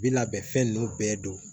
Bi labɛn fɛn nunnu bɛɛ don